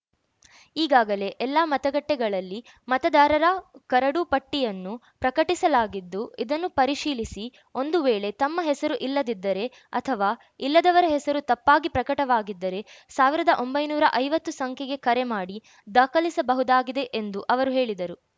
ಈಗಾಗಲೇ ಎಲ್ಲಾ ಮತಗಟ್ಟೆಗಳಲ್ಲಿ ಮತದಾರರ ಕರಡು ಪಟ್ಟಿಯನ್ನು ಪ್ರಕಟಿಸಲಾಗಿದ್ದು ಇದನ್ನು ಪರಿಶೀಲಿಸಿ ಒಂದು ವೇಳೆ ತಮ್ಮ ಹೆಸರು ಇಲ್ಲದಿದ್ದರೆ ಅಥವಾ ಇಲ್ಲದವರ ಹೆಸರು ತಪ್ಪಾಗಿ ಪ್ರಕಟವಾಗಿದ್ದರೆ ಸಾವಿರದ ಒಂಬೈನೂರ ಐವತ್ತು ಸಂಖ್ಯೆಗೆ ಕರೆ ಮಾಡಿ ದಾಖಲಿಸಬಹುದಾಗಿದೆ ಎಂದು ಅವರು ಹೇಳಿದರು